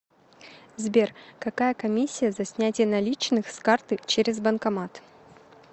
сбер какая комиссия за снятие наличных с карты через банкомат